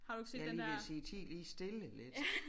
Jeg lige ved at sige ti lige stille lidt